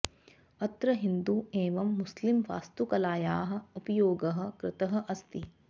अत्र हिन्दु एवं मुस्लिम वास्तुकलायाः उपयोगः कृतः अस्ति